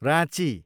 Ranchi